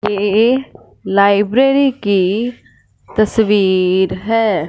ये लाइब्रेरी की तस्वीर है।